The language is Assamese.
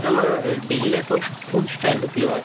আমাৰ daily life ৰ food style তো কি হয়